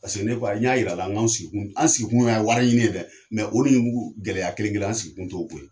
Paseke ne ko n y'a yir'a la k'an sigi kun anw sigi kun ye yan wari ɲini ye dɛ, mɛ o ne jugu gɛlɛya kelen kelen an sigi kun tɛ o ye.